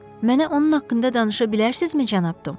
Mənə onun haqqında danışa bilərsizmi, cənab Tom?